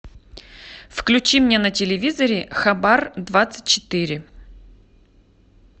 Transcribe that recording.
включи мне на телевизоре хабар двадцать четыре